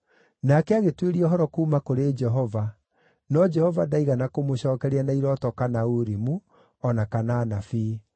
Nake agĩtuĩria ũhoro kuuma kũrĩ Jehova, no Jehova ndaigana kũmũcookeria na irooto kana Urimu, o na kana anabii.